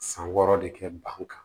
San wɔɔrɔ de kɛ ban kan